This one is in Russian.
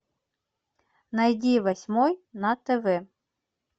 найди восьмой на тв